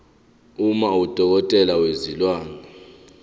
uma udokotela wezilwane